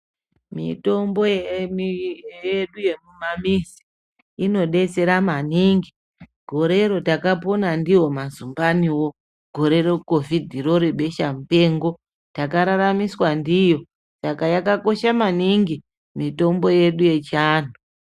Mitombo yedu yemumamizi inodetsera maningi. Gorero takapona ndiwo mazumbaniwo gore rekovhidhiro rebeshamupengo, takararamiswa ndiyo. Saka yakakosha maningi mitombo yedu yechianhu.